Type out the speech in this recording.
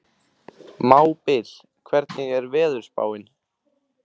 Mábil, hvernig er veðurspáin?